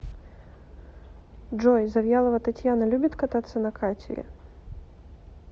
джой завьялова татьяна любит кататься на катере